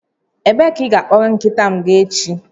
Ebee ka ị ga-akpọrọ nkịta m ga echi?